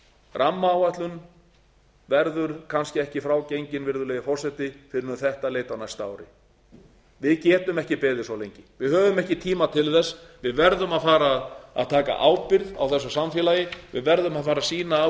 rammaáætlun verður kannski ekki frá gengin virðulegi forseti fyrr en um þetta leyti á næsta ári við getum ekki beðið svo lengi við höfum ekki tíma til þess við verðum að fara að taka ábyrgð á þessu samfélagi við verðum að fara að sýna af